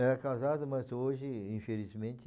Era casado, mas hoje, infelizmente...